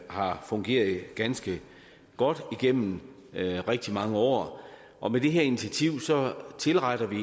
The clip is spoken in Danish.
har fungeret ganske godt igennem rigtig mange år og med det her initiativ tilretter vi